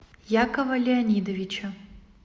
якова леонидовича